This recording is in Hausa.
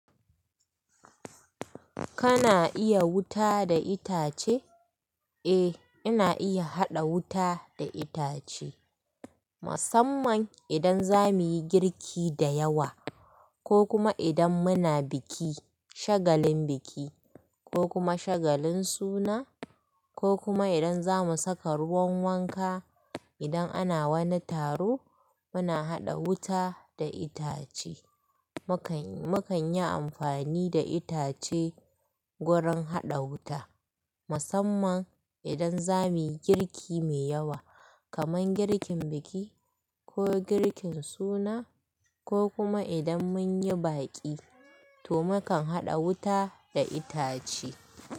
Kana iya wuta da itace? Eh, ina iya haɗa wuta da itace. Musamman idan za muyi girki da yawa ko kuma idan muna biki, shagalin biki ko kuma shagalin suna ko kuma idan za mu saka ruwan wanka. Idan ana wani taro muna haɗa wuta da itace. Mukanyi, mukanyi amfani da itace gurin haɗa wuta musamman idan za muyi girki mai yawa kamar girkin biki ko girkin suna ko kuma idan mun yi baƙi to mukan haɗa wuta da itace.